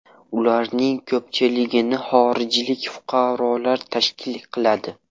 Ularning ko‘pchiligini xorijlik fuqarolar tashkil qiladi.